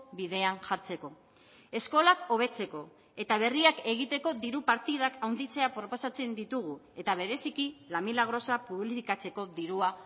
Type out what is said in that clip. bidean jartzeko eskolak hobetzeko eta berriak egiteko diru partidak handitzea proposatzen ditugu eta bereziki la milagrosa publifikatzeko dirua